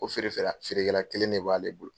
O feere fɛ la feere kɛla kelen de b'ale bolo.